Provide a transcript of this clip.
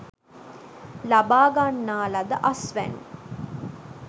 ලබා ගන්නා ලද අස්වැනු